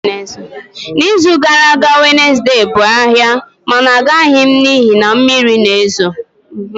N'izu gara aga Wednesday bụ ahịa mana agaghị m n'ihi na mmiri na-ezo